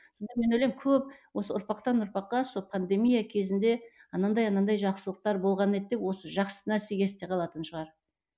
сонда мен ойлаймын көп осы ұрпақтан ұрпаққа сол пандемия кезінде анандай анандай жақсылықтар болған еді деп осы жақсы нәрсе есте қалатын шығар